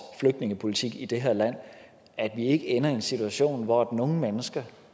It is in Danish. flygtningepolitik i det her land at vi ikke ender i en situation hvor nogle mennesker